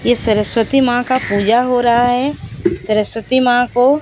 इस सरस्वती मां का पूजा हो रहा हैं सरस्वती मां को--